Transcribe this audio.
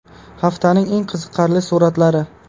Haftaning eng qiziqarli suratlari.